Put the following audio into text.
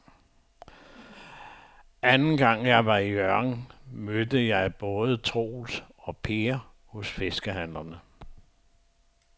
Anden gang jeg var i Hjørring, mødte jeg både Troels og Per hos fiskehandlerne.